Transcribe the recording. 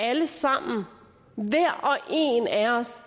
alle sammen hver og en af os